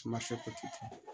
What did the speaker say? Suma